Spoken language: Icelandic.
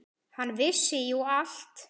Hann vissi jú allt.